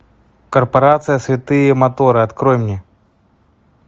корпорация святые моторы открой мне